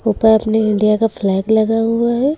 साथ मे इंडिया का फ्लैग लगा हुआ है।